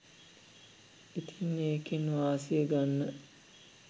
ඉතින් ඒකෙන් වාසිය ගන්න